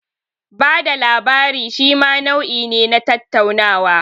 Bada labari shima nau'i ne na tattaunawa.